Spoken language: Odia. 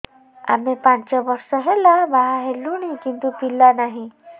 ଆମେ ପାଞ୍ଚ ବର୍ଷ ହେଲା ବାହା ହେଲୁଣି କିନ୍ତୁ ପିଲା ନାହିଁ